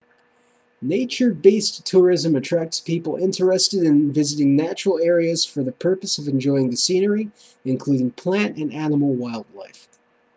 nature-based tourism attracts people interested in visiting natural areas for the purpose of enjoying the scenery including plant and animal wildlife